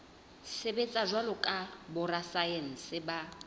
sebetsa jwalo ka borasaense ba